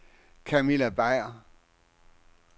Camilla Beyer